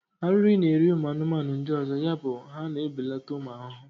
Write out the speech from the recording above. ariri na-eri ụmụ ahụhụ ndị ọzọ, yabụ ha na ebeleta ụmụ ahụhụ.